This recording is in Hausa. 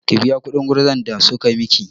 Ki biya kuɗin gurza da suka miki!